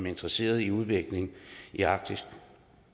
interesseret i udviklingen i arktis